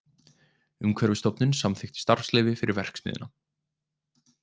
Umhverfisstofnun samþykkt starfsleyfi fyrir verksmiðjuna